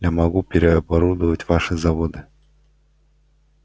я могу переоборудовать ваши заводы